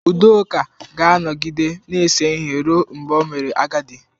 Udoka ga-anọgide na-ese ihe ruo mgbe o mere agadi